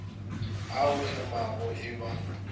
a o hemago e ba